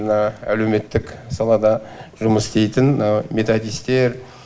мына әлеуметтік салада жұмыс істейтін методистер